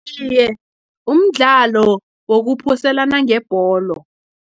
Iye, mdlalo wokuphoselana ngebholo.